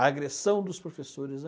A agressão dos professores, né.